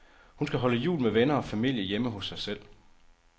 Hun skal holde jul med venner og familie hjemme hos sig selv.